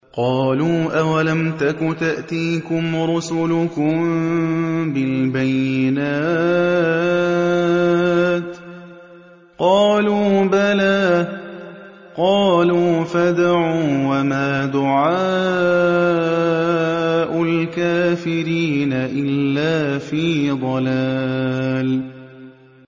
قَالُوا أَوَلَمْ تَكُ تَأْتِيكُمْ رُسُلُكُم بِالْبَيِّنَاتِ ۖ قَالُوا بَلَىٰ ۚ قَالُوا فَادْعُوا ۗ وَمَا دُعَاءُ الْكَافِرِينَ إِلَّا فِي ضَلَالٍ